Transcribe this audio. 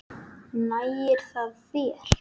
Nægir það þér?